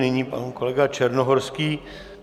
Nyní pan kolega Černohorský.